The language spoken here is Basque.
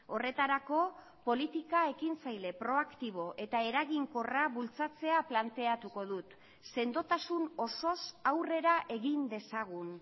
horretarako politika ekintzaile proaktibo eta eraginkorra bultzatzea planteatuko dut sendotasun osoz aurrera egin dezagun